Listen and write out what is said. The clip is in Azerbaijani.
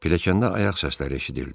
Pilləkəndə ayaq səsləri eşidildi.